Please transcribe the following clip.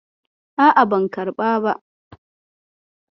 A'a, ban karɓa ba.